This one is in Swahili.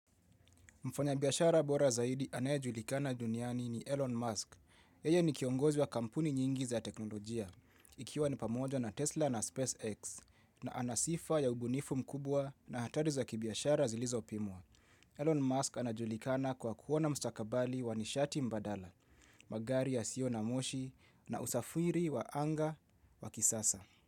Mfanya biashara bora zaidi anayejulikana duniani ni Elon Musk. Yeye ni kiongozi wa kampuni nyingi za teknolojia. Ikiwa ni pamoja na Tesla na SpaceX na ana sifa ya ubunifu mkubwa na hatari za kibiashara zilizopimwa. Elon Musk anajulikana kwa kuona mstakabali wa nishati mbadala, magari yasiyo na moshi na usafiri wa anga wa kisasa.